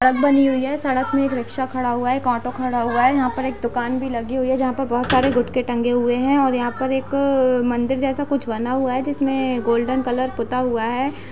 सड़क बनी हुयी है। सड़क में एक रिक्शा खड़ा हुआ है। एक ऑटो खड़ा हुआ है। यहाँ पे एक दुकान लगी हुई है। जहाँ पे बहोत सारे गुटके टंगे हुए हैं और यहाँ पे एक मंदिर जैसा कुछ बना हुआ है जिसमें गोल्डन कलर पुता हुआ है।